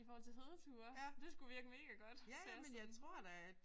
I forhold til hedeture. Det skulle virke mega godt sagde hun sådan